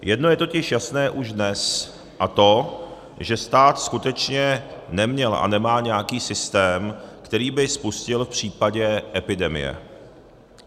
Jedno je totiž jasné už dnes, a to že stát skutečně neměl a nemá nějaký systém, který by spustil v případě epidemie.